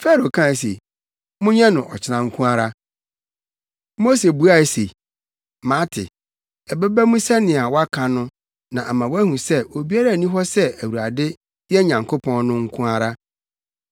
Farao kae se, “Monyɛ no ɔkyena nko ara.” Mose buae se, “Mate, ɛbɛba mu sɛnea woaka no na ama woahu sɛ obiara nni hɔ sɛ Awurade, yɛn Nyankopɔn, no nko ara.